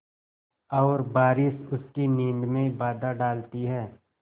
और बारिश उसकी नींद में बाधा डालती है